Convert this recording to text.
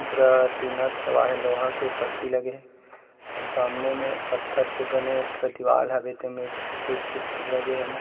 पूरा टीन के छवा हे लोहा के पट्टी लगे हे अउ सामने में पत्थर से बने पूरा दीवाल हावे तेमे एक से सेक चित्र लगे हे।